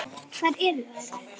Hvar eru þær?